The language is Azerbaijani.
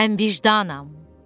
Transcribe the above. Mən vicdanam.